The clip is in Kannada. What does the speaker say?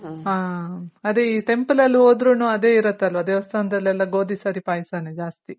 ಹಾ ಅದೆ temple ಅಲ್ ಹೊದ್ರುನು ಅದೆ ಇರುತ್ತಲ್ವ ದೇವಸ್ಥಾನದಲ್ಲೆಲ್ಲ ಗೋದಿ ಸರಿ ಪಾಯ್ಸನೆ ಜಾಸ್ತಿ.